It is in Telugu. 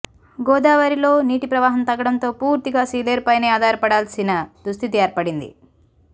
గోదావరిలో నీటి ప్రవాహం తగ్గడంతో పూర్తిగా సీలేరుపైనే ఆధారపడాల్సిన దుస్థితి ఏర్పడింది